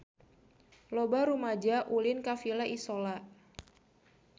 Loba rumaja ulin ka Villa Isola